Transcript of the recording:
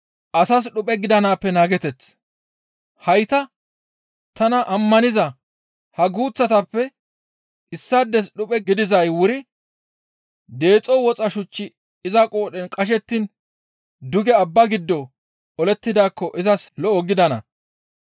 «Hayta tana ammaniza ha guuththatappe issaades dhuphe gidizay wuri deexo woxa shuchchi iza qoodhen qashettiin duge abba gido olettidaakko izas lo7o gidana.